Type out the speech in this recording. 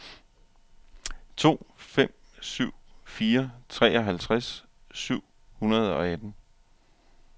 to fem syv fire treoghalvtreds syv hundrede og atten